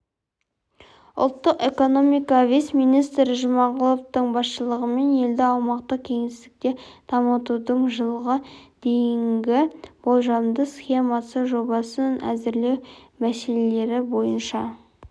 ұлттық экономика вице-министрі жұмағұловтың басшылығымен елді аумақтық-кеңістікте дамытудың жылға дейінгі болжамды схемасы жобасын әзірлеу мәселелері бойынша